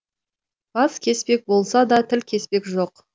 бас кеспек болса да тіл кеспек жоқ